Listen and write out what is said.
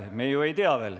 Me ju ei tea veel.